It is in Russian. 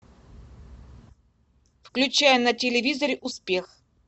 включай на телевизоре успех